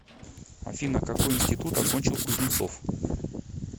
афина какой интситут окончил кузнецов